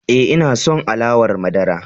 E, ina son alawar madara.